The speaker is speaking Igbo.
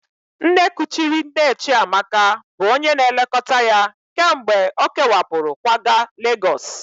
Nne kuchiri nne Chiamaka bụ onye na-elekọta ya kemgbe ọ kewapụrụ kwaga Legọs